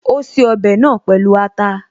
Ó ṣe ọbẹ̀ náà pẹ̀lú ata